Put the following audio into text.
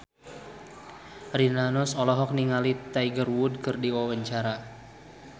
Rina Nose olohok ningali Tiger Wood keur diwawancara